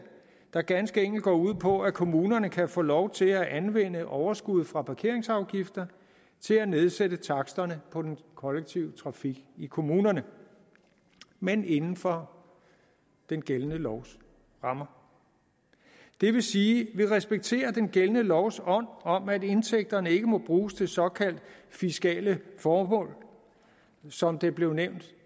der ganske enkelt går ud på at kommunerne kan få lov til at anvende overskud fra parkeringsafgifter til at nedsætte taksterne på den kollektive trafik i kommunerne men inden for den gældende lovs rammer det vil sige at vi respekterer den gældende lovs ånd om at indtægterne ikke må bruges til såkaldt fiskale formål som det blev nævnt